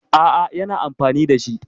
A'a, yana amfani da shi.